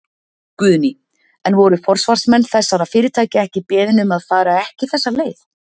Guðný: En voru forsvarsmenn þessara fyrirtækja ekki beðin um að fara ekki þessa leið?